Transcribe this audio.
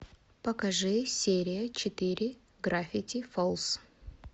покажи серия четыре гравити фолз